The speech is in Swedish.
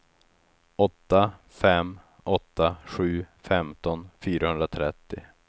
åtta fem åtta sju femton fyrahundratrettio